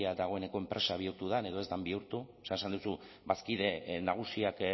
dagoeneko enpresa bihurtu den edo ez den bihurtu o sea esan duzu bazkide nagusiak